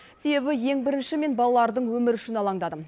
себебі ең бірінші мен балалардың өмірі үшін алаңдадым